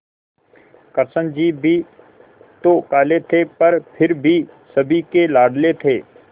कृष्ण जी भी तो काले थे पर फिर भी सभी के लाडले थे